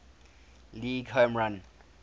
league home run